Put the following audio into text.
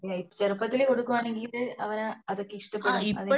ചെറുപ്പത്തിലേ കൊടുക്കുകയാണെങ്കിൽ അവർ അതൊക്കെ ഇഷ്ടപെടും